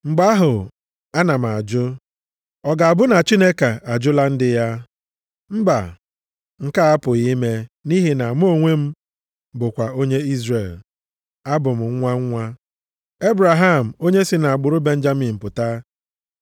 Mgbe ahụ a na m ajụ, ọ ga-abụ na Chineke ajụla ndị ya? Mba, nke a apụghị ime, nʼihi na mụ onwe m bụkwa onye Izrel. Abụ m nwa nwa Ebraham, onye si nʼagbụrụ Benjamin pụta.